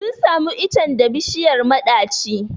Sun samo icen da bishiyar maɗaci.